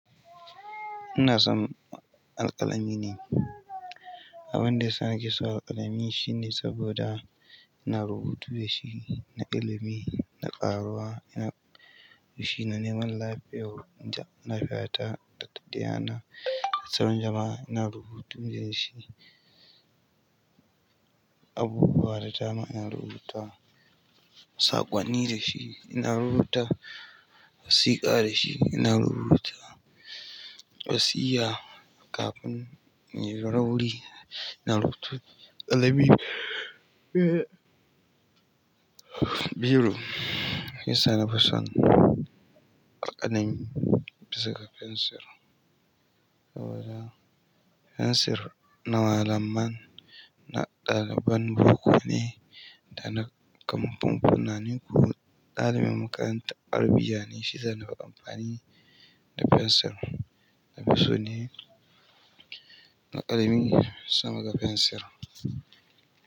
Ina son alƙalami ne. Abin da ya sa ni ke son alƙalami shine saboda ina rubutu da shi, na ilimi, na ƙaruwa, ina--, yi shi ne neman lafiyar, lafiyata data ɗi yana da sauran jama'a. Ina rubutu da shi. Abubuwa da tani in rubuta sa ƙonni dashi ina rubuta wasiƙa da shi ina rubuta wasiya kafin in yi rauri rubutu. Alƙalami, biro, shiya sa nafin son alƙalami bisa ga fensir. Saboda fensir na malamai, na ɗaliban boko ne da na kamfanoni. Nani kune ɗalibin makarantar Arabiya ne shi zai yi amfani da fensir. Na fi so ne na alƙalami sama da fensir.